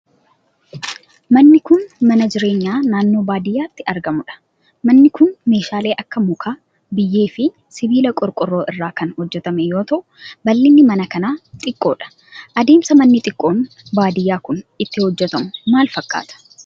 Manni kun, mana jireenyaa naannoo baadiyaatti argamuu dha. Manni kun meeshaalee akka muka, biyyee fi sibiila qorqoorroo irraa kan hojjatame yoo ta'u, bal'inni mana kanaa xiqqoo dha. Adeemsi manni xiqqoon baadiyaa kun, ittiin hojjatamu maal fakkaata?